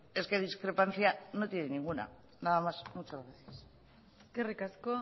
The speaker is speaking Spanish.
es que discrepancia no tiene ninguna nada más muchas gracias eskerrik asko